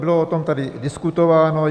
Bylo o tom tady diskutováno.